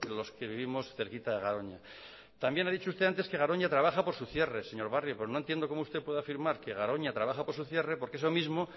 los que vivimos cerquita de garoña también ha dicho usted antes que garoña trabaja por su cierre señor barrio pues no entiendo como usted puede afirmar que garoña trabaja por su cierre porque eso mismo